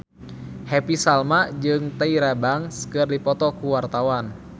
Happy Salma jeung Tyra Banks keur dipoto ku wartawan